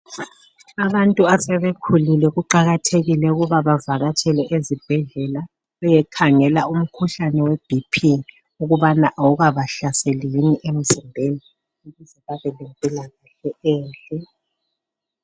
Abantu asebekhulile kuqakathekile ukuba bavakatshele ezibhedlela bayekhangela umkhuhlane we bp ukubana awukabahlaseli yini emzimbeni babe lempilakahle.